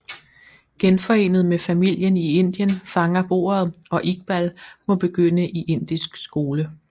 Genforenet med familien i Indien fanger bordet og Iqbal må begynde i indisk skole